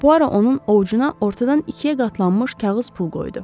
Bu ara onun ovucuna ortadan ikiyə qatlanmış kağız pul qoydu.